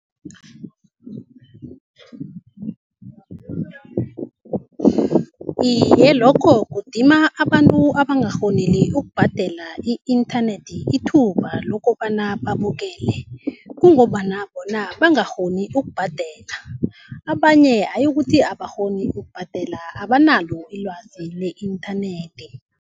Iye, lokho kudima abantu abangakghoni ukubhadela i-inthanethi ithuba lokobana babukele, kungombana bona bangakghoni ukubhadela. Abanye hayi ukuthi abakghoni ukubhadela, abanalo ilwazi le-inthanethi.